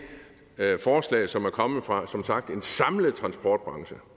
forslag som er kommet fra som sagt en samlet transportbranche